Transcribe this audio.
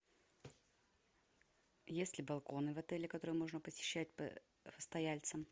есть ли балконы в отеле которые можно посещать постояльцам